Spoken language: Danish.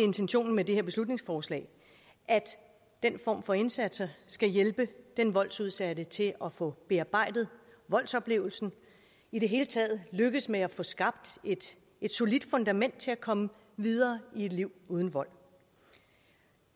intentionen med det her beslutningsforslag at den form for indsatser skal hjælpe den voldsudsatte til at få bearbejdet voldsoplevelsen og i det hele taget lykkes med at få skabt et solidt fundament til at komme videre i et liv uden vold